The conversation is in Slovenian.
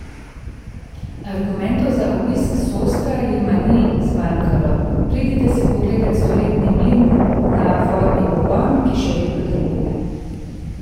Argumentov za obisk Sostra jima ni zmanjkalo: 'Pridite si pogledat stoletni mlin na vodni pogon, ki še vedno deluje.